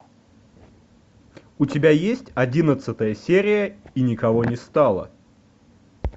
у тебя есть одиннадцатая серия и никого не стало